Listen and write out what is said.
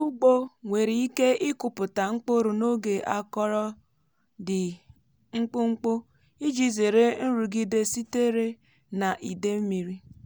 ndị ọrụ ugbo nwere ike ịkụpụta mkpụrụ n’oge akọrọ dị mkpụmkpụ iji zere nrụgide sitere na ide mmiri.